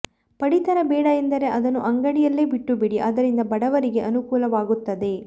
ಪಡಿತರ ಬೇಡ ಎಂದರೆ ಅದನ್ನು ಅಂಗಡಿಯಲ್ಲೇ ಬಿಟ್ಟುಬಿಡಿ ಅದರಿಂದ ಬಡವರಿಗೆ ಅನುಕೂಲವಾಗುತ್ತದೆ